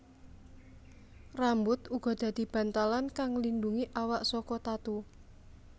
Rambut uga dadi bantalan kang nglindungi awak saka tatu